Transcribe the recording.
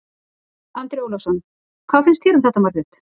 Andri Ólafsson: Hvað finnst þér um þetta Margrét?